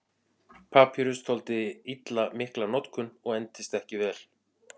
Papýrus þoldi illa mikla notkun og entist ekki vel.